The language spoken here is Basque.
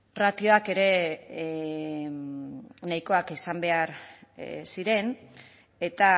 ratioak ere nahikoak izan behar ziren eta